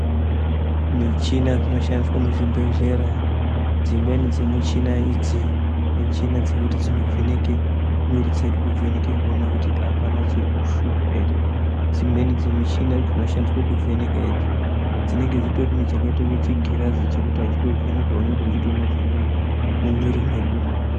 Michina dzinoshandiswa muzvibhedhlera, dzimweni dzimuchina idzi, michina dzekuti dzinovheneke mwiri dzedu, kuvheneke kuwona kuti hapana chirikushupa here. Dzimweni dzimuchini dzinoshandiswa kuvheneka idzi, dzinenge dzitori nechakayita kunge chingirazi chekuti vachitovheneka vanenge vachitowona zvirimumwiri medu.